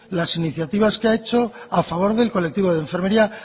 las iniciativas que ha hecho a favor del colectivo de enfermería